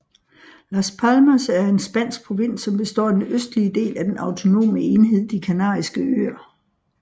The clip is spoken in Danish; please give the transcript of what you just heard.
Las Palmas er en spansk provins som består af den østlige del af den autonome enhed De Kanariske Øer